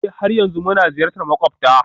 Ee, har yanzu muna ziyartar makwabta